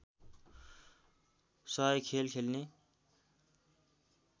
१०० खेल खेल्ने